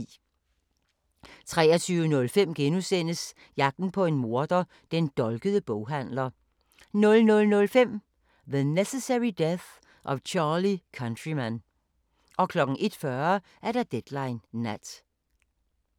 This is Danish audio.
23:05: Jagten på en morder: Den dolkede boghandler * 00:05: The Necessary Death of Charlie Countryman 01:40: Deadline Nat